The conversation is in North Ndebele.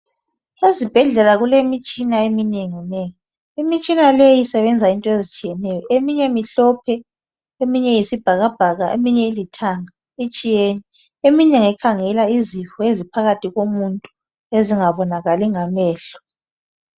Ezibhedlela kulemitshina eminengi nengi. Imitshina leyi isebenza into ezitshiyeneyo. Eminye mihlophe, eminye iyisibhabhaka eminye ilithanga itshiyene. Eminye ngekhangela izifo eziphakathi komuntu ezingabonakali ngamehlo.